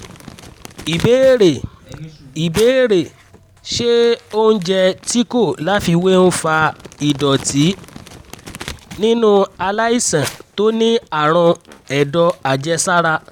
ìbéèrè: ìbéèrè: ṣé oúnjẹ tí kò láfiwé ń fa ìdọ̀tí nínú aláìsàn tó ní àrùn ẹ̀dọ̀ àjẹsára?